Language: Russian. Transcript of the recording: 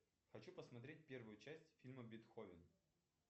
хочу посмотреть первую часть фильма бетховен